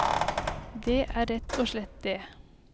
Det er rett og slett det.